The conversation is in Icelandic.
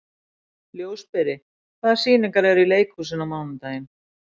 Ljósberi, hvaða sýningar eru í leikhúsinu á mánudaginn?